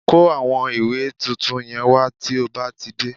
Kó àwọn ìwé tuntun yẹn wá tí ó bá ti dé